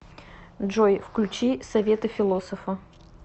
джой включи советы философа